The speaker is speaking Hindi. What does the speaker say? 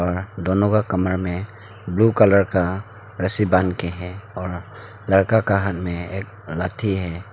और दोनों का कमर में ब्लू कलर का रस्सी बांध के हैं और लड़का का हाथ में एक लाथि है।